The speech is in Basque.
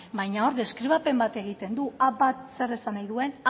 baina hor deskribapen bat egiten du a bat zer esan nahi duen